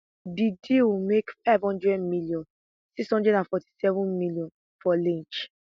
di deal make five hundred million six hundred and seven million for lynch